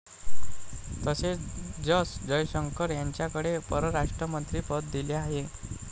तसेच एस जयशंकर यांच्याकडे परराष्ट्रमंत्री पद दिलं आहे.